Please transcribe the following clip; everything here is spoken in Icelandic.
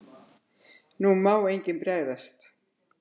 NÚ MÁ ENGINN BREGÐAST!